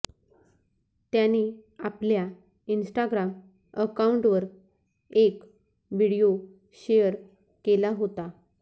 त्याने आपल्या इन्स्टाग्राम अकाऊंटवर एक व्हिडिओ शेअर केला होता